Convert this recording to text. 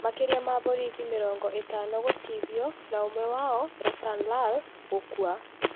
Makĩria ma borithi mĩrongo ĩtano gũtihio na ũmwe wao(Ratan Lal ) gũkua